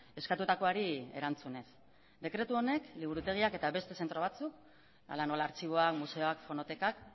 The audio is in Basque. eskatutakoari erantzunez dekretu honek liburutegiak eta beste zentro batzuk hala nola artxiboa museoak fonotekak